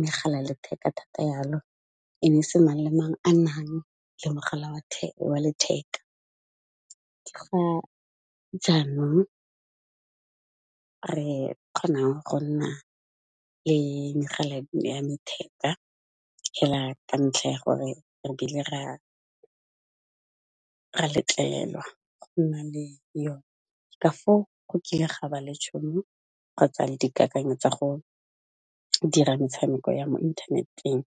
megala ya letheka thata jalo, e ne e se mang le mang a nang le mogala wa letheka. Ke ga jaanong re kgonang go nna le megala ya letheka fela ka ntlha ya gore re bile ra letlelelwa go nna le yone, ka foo go kile ga ba le tšhono kgotsa le dikakanyo tsa go dira metshameko ya mo inthaneteng.